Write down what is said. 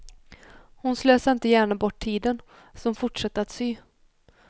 Hon slösade inte gärna bort tiden, så hon fortsatte att sy.